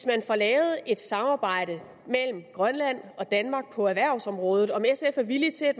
at få lavet et samarbejde mellem grønland og danmark på erhvervsområdet er sf villig til at